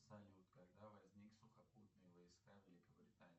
салют когда возник сухопутные войска великобритании